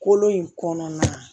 Kolo in kɔnɔna